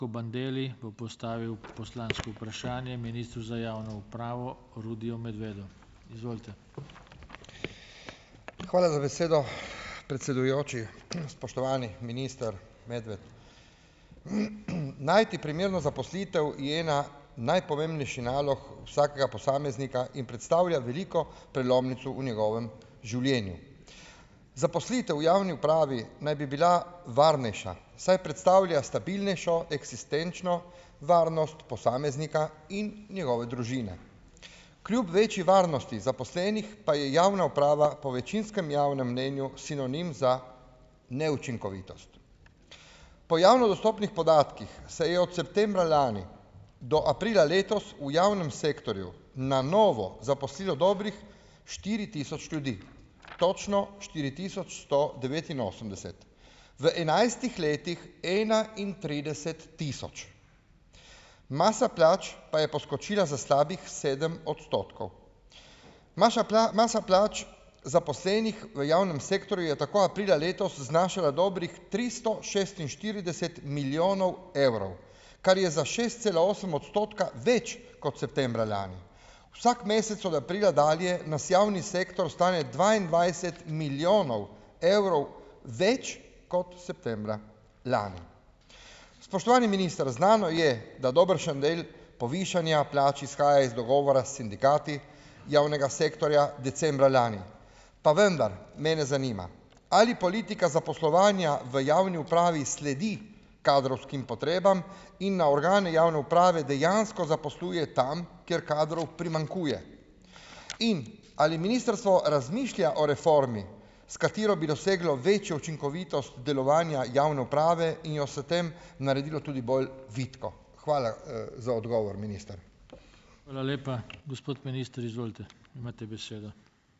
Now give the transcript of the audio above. Hvala za besedo, predsedujoči. Spoštovani minister Medved! Najti primerno zaposlitev je ena najpomembnejši nalog vsakega posameznika in predstavlja veliko prelomnico v njegovem življenju. Zaposlitev v javni upravi naj bi bila varnejša, saj predstavlja stabilnejšo eksistenčno varnost posameznika in njegove družine. Kljub večji varnosti zaposlenih pa je javna uprava po večinskem javnem mnenju sinonim za neučinkovitost. Po javno dostopnih podatkih se je od septembra lani do aprila letos v javnem sektorju na novo zaposlilo dobrih štiri tisoč ljudi. Točno štiri tisoč sto devetinosemdeset. V enajstih letih enaintrideset tisoč. Masa plač pa je poskočila za slabih sedem odstotkov. Maša masa plač zaposlenih v javnem sektorju je tako aprila letos znašala dobrih tristo šestinštirideset milijonov evrov, kar je za šest cela osem odstotka več kot septembra lani. Vsak mesec od aprila dalje nas javni sektor stane dvaindvajset milijonov evrov več kot septembra lani. Spoštovani minister. Znano je, da dobršen del povišanja plač izhaja iz dogovora s sindikati javnega sektorja decembra lani, pa vendar, mene zanima: Ali politika zaposlovanja v javni upravi sledi kadrovskim potrebam in na organe javne uprave dejansko zaposluje tam, kjer kadrov primanjkuje. In ali ministrstvo razmišlja o reformi, s katero bi doseglo večjo učinkovitost delovanja javne uprave in jo s tem naredilo tudi bolj vitko? Hvala, za odgovor, minister.